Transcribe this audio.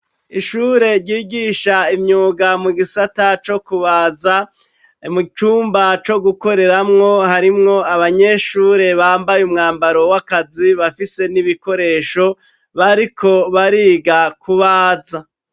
Ishure ryigisha imyuga mu gisata co kubaza mu cumba co gukoreramwo harimwo abanyeshure bambaye umwambaro w'akazi bafise n'ibikoresho bariko bariga kubaza.